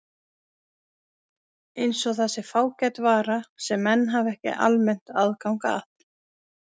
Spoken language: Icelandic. Eins og það sé fágæt vara sem menn hafi ekki almennt aðgang að.